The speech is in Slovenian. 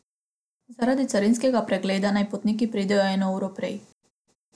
Zaradi carinskega pregleda naj potniki pridejo eno uro prej.